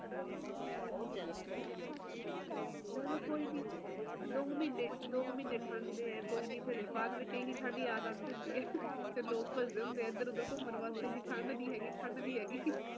ਹੁਣ ਲੋਕ ਚਾਉਂਦੇ ਆ ਕਿ ਸਾਨੂੰ ਇਧਰੋਂ ਵੀ ਸਹੂਲਤ ਮਿਲੇ ਤੇ ਓਧਰੋਂ ਵੀ ਮੌਸਮ ਵੀ ਵਧੀਆ ਰਹੇ ਤੇ ਇਹ ਦੋਨੋ ਚੀਜ਼ਾਂ ਇੱਕਠੀਆਂ ਨਹੀਂ ਹੋ ਸਕਦੀਆਂ ਨਾ ਸਰਕਾਰ ਵੀ ਕਿਥੋਂ ਤਕ ਕਰੇਗੀ ਉਹ ਹੁਣ ਤਰੱਕੀ ਦੇਖ਼ ਲੋਕ ਦੀ ਯਾ ਲੋਕਾਂ ਦੀ ਸਹੂਲਤ ਦੇਖ਼ ਦੋਨੋ ਚੀਜ਼ਾਂ ਇੱਕਠੀਆਂ ਨਹੀਂ